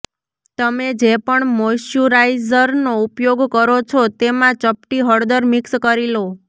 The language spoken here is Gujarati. તમે જે પણ મોઈશ્ચરાીઝરનો ઉપયોગ કરો છો તેમાં ચપટી હળદર મિક્સ કરી લો